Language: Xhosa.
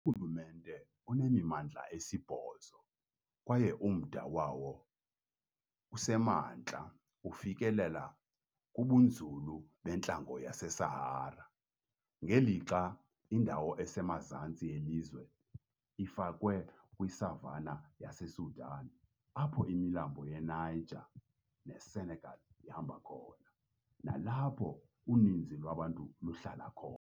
Urhulumente unemimandla esibhozo, kwaye umda wawo osemantla ufikelela kubunzulu bentlango yeSahara, ngelixa indawo esemazantsi yelizwe ifakwe kwi-savannah yaseSudan, apho imilambo yaseNiger neSenegal ihamba khona, nalapho uninzi lwabantu luhlala khona.